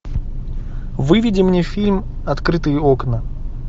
выведи мне фильм открытые окна